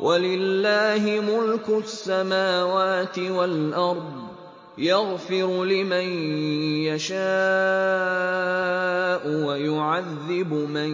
وَلِلَّهِ مُلْكُ السَّمَاوَاتِ وَالْأَرْضِ ۚ يَغْفِرُ لِمَن يَشَاءُ وَيُعَذِّبُ مَن